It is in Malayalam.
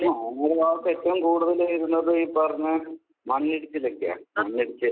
വയനാട് ഭാഗത്ത് ഏറ്റവും കൂടുതൽ വരുന്നത് ഈ പറഞ്ഞ മണ്ണിടിച്ചിലൊക്കെയാ.